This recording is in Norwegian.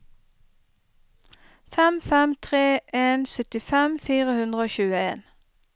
fem fem tre en syttifem fire hundre og tjueen